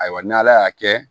Ayiwa n'ala y'a kɛ